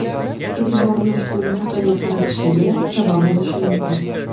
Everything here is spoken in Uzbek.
e’tiborini ushbu mintaqaga qaratishiga sabab bo‘lishi mumkin.